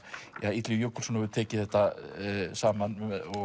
að Illugi Jökulsson hefur tekið þetta saman